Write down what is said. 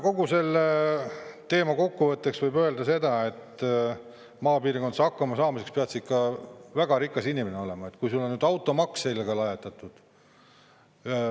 Kogu selle teema kokkuvõtteks võib öelda seda, et maapiirkondades hakkama saamiseks pead sa ikka väga rikas inimene olema, kui sulle on ka automaksiga lajatatud.